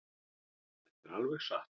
Þetta er alveg satt.